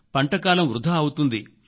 పంటకాలం వృథా అవుతుంది